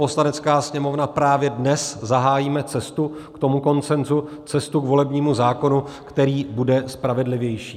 Poslanecká sněmovna právě dnes zahájíme cestu k tomu konsenzu, cestu k volebnímu zákonu, který bude spravedlivější.